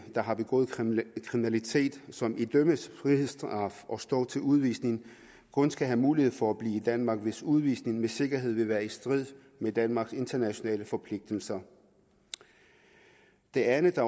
der har begået kriminalitet og som idømmes frihedsstraf og står til udvisning kun skal have mulighed for at blive i danmark hvis udvisning med sikkerhed vil være i strid med danmarks internationale forpligtelser det andet der